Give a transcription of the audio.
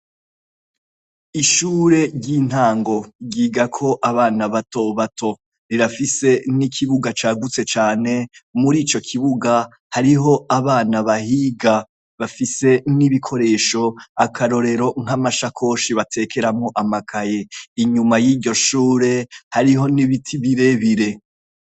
Ishure ry'intango ryigako abana batobato, rirafise n'ikibuga cagutse cane. Mur'ico k'ibubuga hariho abana bahiga bafise n'ibikoresho; akarorero nk'amasakoshi batwatamwo amakaye. Inyuma y'iryoshure hariho n'ibiti birebire.